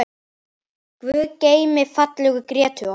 Guði geymi fallegu Grétu okkar.